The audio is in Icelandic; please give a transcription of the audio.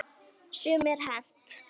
Sumu er hent.